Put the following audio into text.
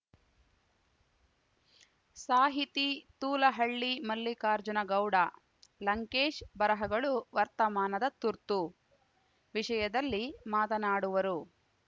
ಸಾಹಿತಿ ತೂಲಹಳ್ಳಿ ಮಲ್ಲಿಕಾರ್ಜುನಗೌಡ ಲಂಕೇಶ್‌ ಬರಹಗಳು ವರ್ತಮಾನದ ತುರ್ತು ವಿಷಯದಲ್ಲಿ ಮಾತನಾಡುವರು